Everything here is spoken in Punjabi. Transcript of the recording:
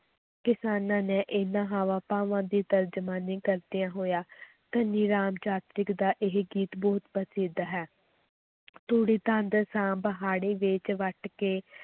ਕਿਸਾਨਾਂ ਨੇ ਇਹਨਾਂ ਹਾਵਾਂ ਭਾਵਾਂ ਦੀ ਤਰਜਮਾਨੀ ਕਰਦਿਆਂ ਹੋਇਆਂ ਧਨੀ ਰਾਮ ਚਾਤ੍ਰਿਕ ਦਾ ਇਹ ਗੀਤ ਬਹੁਤ ਪ੍ਰਸਿੱਧ ਹੈ ਤੂੜੀ ਤੰਦ ਸਾਂਭ ਹਾੜ੍ਹੀ ਵੇਚ ਵੱਟ ਕੇ,